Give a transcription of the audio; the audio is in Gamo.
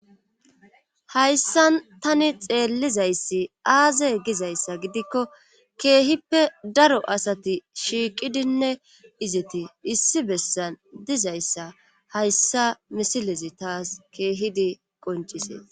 Hayssa tani xeellizayssi aaze gizayssa gidikko keehippe daro asati shiiqidinne izeti issi bessan dizayssa hayssa misilezi taas keehidi qoncisee